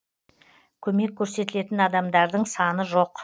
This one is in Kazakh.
көмек көрсетілген адамдардың саны жоқ